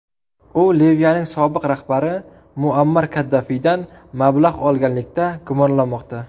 U Liviyaning sobiq rahbari Muammar Kaddafiydan mablag‘ olganlikda gumonlanmoqda.